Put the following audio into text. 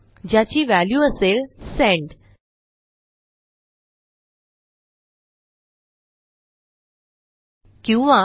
ज्याची व्हॅल्यू असेल सेंड किंवा